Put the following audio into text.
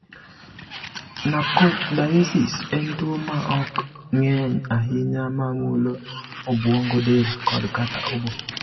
Nocardiosis en tuwo ma ok ng’eny ahinya ma mulo obwongo, del, kod/kata obo.